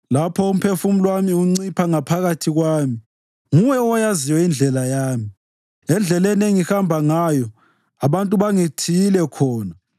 Lapho umphefumulo wami uncipha ngaphakathi kwami, nguwe oyaziyo indlela yami. Endleleni engihamba ngayo abantu bangithiyile khona.